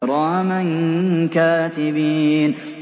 كِرَامًا كَاتِبِينَ